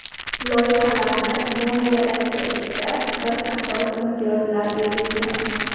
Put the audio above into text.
Loyihalarni moliyalashtirishda bir qator imtiyozlar berilgan.